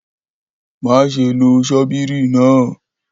Maṣe lo ṣọ́bìrì naa!